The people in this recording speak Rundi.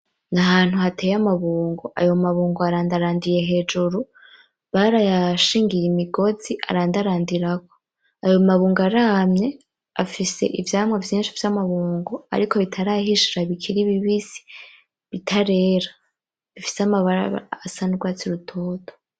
Ni ahantu hateye amabungo, ayo mabungo arandarandiye hejuru barayashingiye imigozi arandarandirako. Ayo mabungo aramye, afise ivyamwa vyinshi vy’amabungo ariko bitarahishira bikiri bibisi bitarera bifise amabara asa n’urwatsi rutoto.